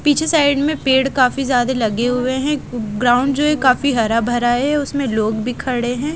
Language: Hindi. पीछे साइड में पेड़ काफी ज्यादा लगे हुए हैं ग्राउंड जो है काफी हरा भरा है उसमें लोग भी खड़े हैं।